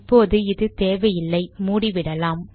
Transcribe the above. இப்போது இது தேவையில்லை மூடிவிடலாம்